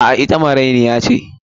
A'a, ita marainiya ce.